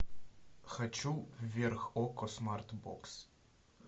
хочу вверх окко смарт бокс